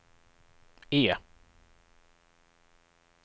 E